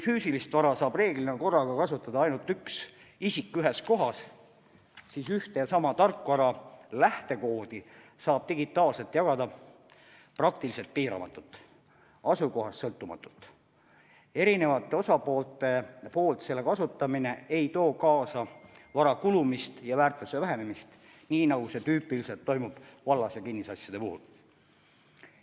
Füüsilist vara saab reeglina korraga kasutada ainult üks isik ühes kohas, seevastu üht ja sama tarkvara lähtekoodi saab digitaalselt jagada praktiliselt piiramatult, asukohast sõltumata, kusjuures selle kasutamine mitme osapoole vahel ei too kaasa vara kulumist ja selle väärtuse vähenemist, nii nagu see tüüpiliselt toimub vallas- ja kinnisasjade puhul.